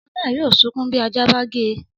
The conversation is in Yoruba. Ọmọ náà yóò sunkún bí ajá bá gé e